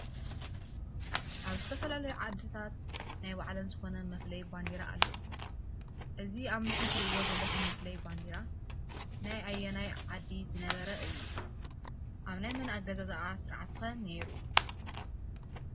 አብ ዝተፈላለዩ ዓድታት ናይ ባዕለን ዝኾነ መፍለይ ባንዴራ አለዎን፡፡ እዚ አብ ምስሊ እትሪኢዎ ዘለኹም መፈለይ ባንዴራ ናይ አየናይ ዓድ ዝነበረ እዩ? አብ ናይ መን አገዛዛአ ስርዓት ኸ ነይሩ?